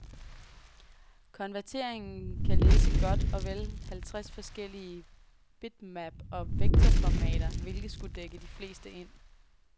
Konverteringen kan læse godt og vel halvtreds forskellige bitmap- og vektorformater, hvilket skulle dække de fleste ind.